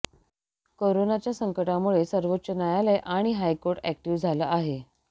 करोनाच्या संकटामुळे सर्वोच्च न्यायालय आणि हायकोर्ट अॅक्टिव्ह झालं आहे